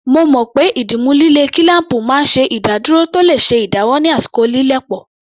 Mo mọ̀ pé ìdìmú líle kílám̀pù máa ń ṣe ìdádúró tó le ṣe ìdáwọ́ ní àsìkò lílẹ̀ pọ̀